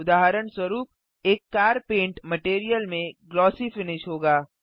उदहारणस्वरुप एक car paint material में glossy finish होगा